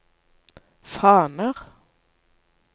faner